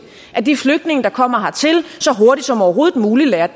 at de flygtninge der kommer hertil så hurtigt som overhovedet muligt lærer